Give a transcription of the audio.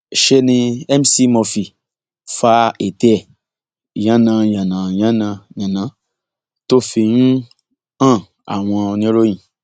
ṣe ni mc murphy fa ètè ẹ yananyanányànányànán tó fi ń hàn àwọn oníròyìn